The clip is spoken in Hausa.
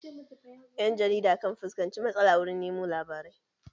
Ƴan jarida kan fuskanci matsala wurin nemo labarai